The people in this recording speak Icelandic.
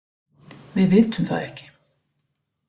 Við vitum það ekki